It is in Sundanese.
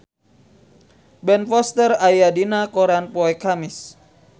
Ben Foster aya dina koran poe Kemis